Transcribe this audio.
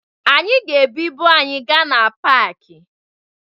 Anyị ga-ebu ibu anyị gaa na paakị